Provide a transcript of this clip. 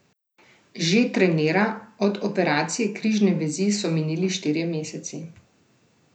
Že trenira, od operacije križne vezi so minili štirje meseci.